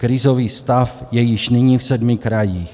Krizový stav je již nyní v sedmi krajích.